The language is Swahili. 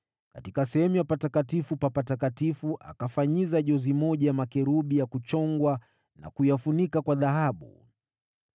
Katika sehemu ya Patakatifu pa Patakatifu akafanyiza jozi moja ya makerubi ya kuchongwa na kuyafunika kwa dhahabu.